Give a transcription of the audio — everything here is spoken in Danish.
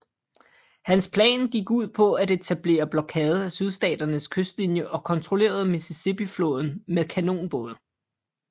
Hans plan gik ud på at etablere blokade af Sydstaternes kystlinie og kontrollere Mississippifloden med kanonbåde